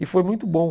E foi muito bom.